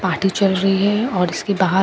party चल रही है और इसके बाहर--